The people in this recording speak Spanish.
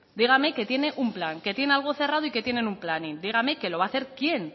dígame que tiene un plan que tiene algo cerrado y que tienen un planning dígame que lo va a hacer quién